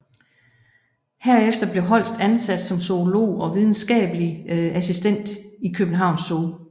Herefter blev Holst ansat som zoolog og videnskabelig assistent København Zoo